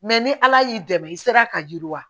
Mɛ ni ala y'i dɛmɛ i sera ka yiriwa